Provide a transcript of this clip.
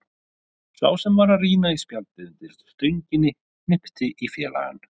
Sá sem var að rýna í spjaldið undir stönginni hnippti í félagann.